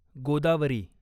Godavari